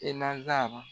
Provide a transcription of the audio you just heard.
E nazara